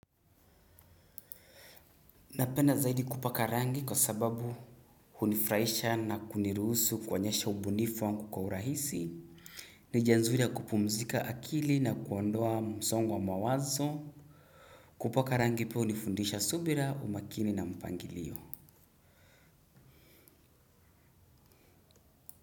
Napenda zaidi kupaka rangi kwa sababu hunifurahisha na kuniruhusu kuonyesha ubunifu wangu kwa urahisi. Ni njia nzuri ya kupumzika akili na kuondoa msongo wa mawazo. Kupaka rangi pia hunifundisha subira umakini na mpangilio.